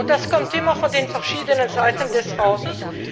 Das kommt immer von den verschiedenen Seiten des Hauses.